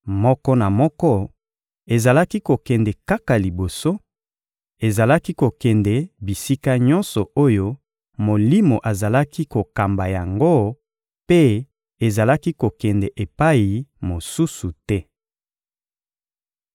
Moko na moko ezalaki kokende kaka liboso; ezalaki kokende bisika nyonso oyo Molimo azalaki kokamba yango mpe ezalaki kokende epai mosusu te.